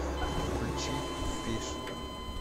включи фиш